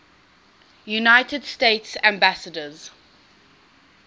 united states ambassadors